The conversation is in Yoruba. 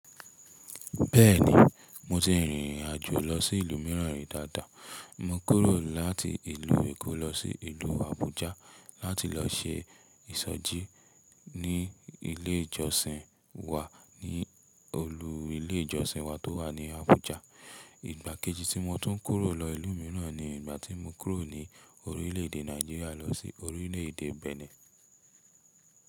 Bẹ́ẹ̀ni, mo ti rìnrìn àjò lọ sí ìlú mìíràn rí dáadáa. Mo kúrò láti ìlú Èkó lọ sí ìlú Àbújá láti lọ se ìsọjí ní ilé ìjọsìn wa ní olú ilé ìjọsìn wa tó wà ní Àbújá. Ìgbà kejì tí mo tún kúrò lọ ìlú mìíràn ni ìgbà tí mo kúrò ní orílè èdè Nàìjíríà lọ sí orílè èdè Benin.